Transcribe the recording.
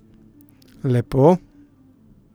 Lepo.